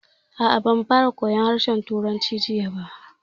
A'a, ba mu fara koyan harshen Turanci jiya ba